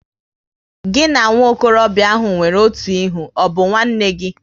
Gị na nwokorobia ahụ nwere otu ihe, ọ bụ nwanne gị?